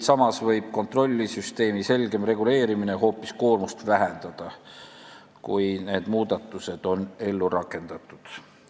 Samas võib kontrollsüsteemi selgem reguleerimine hoopis koormust vähendada, kui need muudatused on ellu rakendatud.